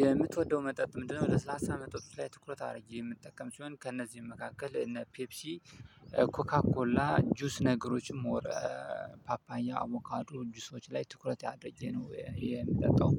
የምትወደው መጠጥ ምንድነው? ለሰላሳ መጠጦች ላይ ትኩረት አድርጌ የምጠቀም ሲሆን ከእነዚህም መካከል እነ ፔፕሲ ኮካኮላ ጁስ ነገሮችን ሞር ፓፓያ አቮካዶ ጁሶች ላይ ትኩረት አድርጌ ነው የምጠጣው።